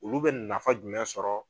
Olu bɛ nafa jumɛn sɔrɔ